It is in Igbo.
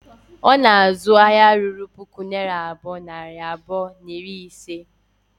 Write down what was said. Ọ na-azụ ahịa ruru puku naira abụọ, nari abụọ na iri ise